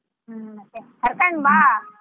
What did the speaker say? ಹ್ಮ್ ಮತ್ತೆ ಕರ್ಕೊಂಡ್ ಬಾ.